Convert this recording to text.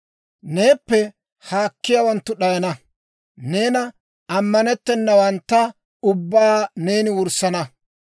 Neeppe haakkiyaawanttu d'ayana; neena amanetenawantta ubbaa neeni wurssana.